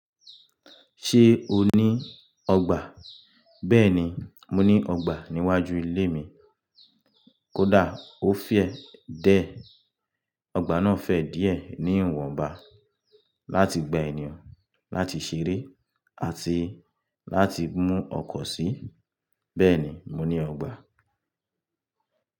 Ṣé o ní ọgbà? Bẹ́ẹ̀ni, mo ní ọgbà níwájú ilé mi. Kódà ó fẹ̀ diẹ̀, ọgbà náà fẹ̀ díẹ̀ ní ìwọ̀nba, láti gba ènìyàn, láti ṣeré, àti láti mú ọkọ̀ sí. Bẹ́ẹ̀ni, mo ní ọgbà.